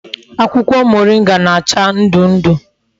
Akwukwo moringa na-acha ndu ndu